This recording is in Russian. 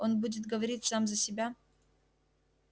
он будет говорить сам за себя